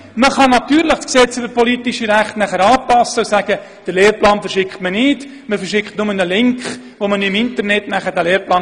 Natürlich könnte man das Gesetz über die politischen Rechte anpassen und sagen, man verschicke den Lehrplan nicht, sondern nur einen Link, über den man den Lehrplan dann im Internet anschauen könne.